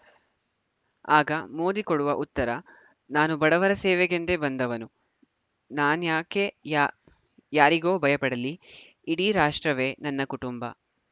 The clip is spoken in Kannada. ಆಗ ಮೋದಿ ಕೊಡುವ ಉತ್ತರನಾನು ಬಡವರ ಸೇವೆಗೆಂದೇ ಬಂದವನು ನಾನ್ಯಾಕೆ ಯಾ ಯಾರಿಗೋ ಭಯಪಡಲಿ ಇಡೀ ರಾಷ್ಟ್ರವೇ ನನ್ನ ಕುಟುಂಬ